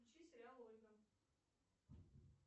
включи сериал ольга